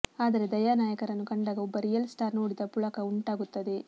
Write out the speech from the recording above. ಆದರೆ ದಯಾ ನಾಯಕರನ್ನು ಕಂಡಾಗ ಒಬ್ಬ ರಿಯಲ್ ಸ್ಟಾರ್ ನೋಡಿದ ಪುಳಕ ಉಂಟಾಗುತ್ತದೆ